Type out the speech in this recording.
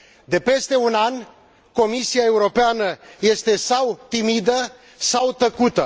De peste un an, Comisia Europeană este sau timidă, sau tăcută.